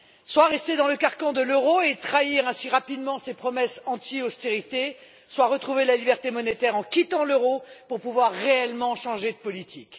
Soit rester dans le carcan de l'euro et trahir ainsi rapidement ses promesses anti austérité, soit retrouver la liberté monétaire en quittant l'euro pour pouvoir réellement changer de politique.